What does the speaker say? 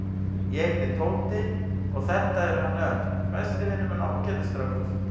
Ég heiti Tóti og þetta er hann Örn, besti vinur minn og ágætis strákur.